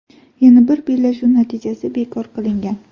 Yana bir bellashuv natijasi bekor qilingan.